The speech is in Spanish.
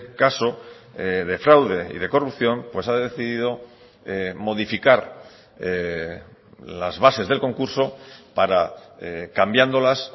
caso de fraude y de corrupción pues ha decidido modificar las bases del concurso para cambiándolas